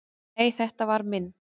"""Nei, þetta var minn"""